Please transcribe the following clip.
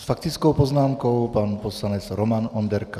S faktickou poznámkou pan poslanec Roman Onderka.